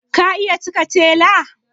Ka iya cike tela?